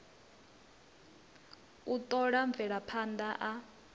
u t ola mvelaphand a